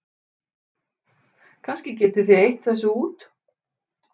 Kannski getið þið eytt þessu út?